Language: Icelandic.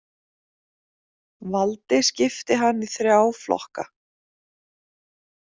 Valdi skipti hann í þrjá flokka.